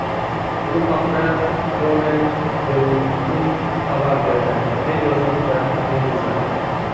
Bu haqda Kronen Zeitung xabar berdi, deb yozmoqda Meduza.